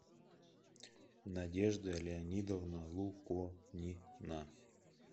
надежда леонидовна луконина